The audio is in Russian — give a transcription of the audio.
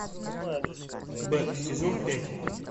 бэк сезон пять